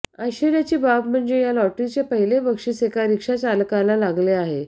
आश्चर्याची बाब म्हणजे या लॉटरीचे पहिले बक्षीस एका रिक्षा चालकाला लागले आहे